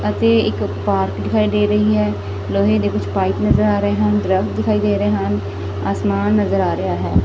ਅਤੇ ਇੱਕ ਪਾਰਕ ਦਿਖਾਈ ਦੇ ਰਹੀ ਹੈ ਲੋਹੇ ਦੇ ਕੁਛ ਪਾਇਪ ਨਜਰ ਆ ਰਹੇ ਹਨ ਦਰੱਖਤ ਦਿਖਾਈ ਦੇ ਰਹੇ ਹਨ ਆਸਮਾਨ ਨਜਰ ਆ ਰਿਹਾ ਹੈ।